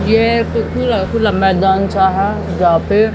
यह खुला खुला सा मैदान है जहां पर--